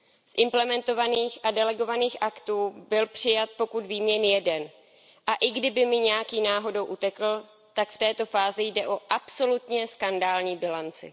Z implementovaných a delegovaných aktů byl přijat, pokud vím, jen jeden, a i kdyby mi nějaký náhodou utekl, tak v této fázi jde o absolutně skandální bilanci.